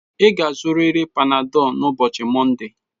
Ị ga-azụrịrị Panadol n'ụbọchị Mọnde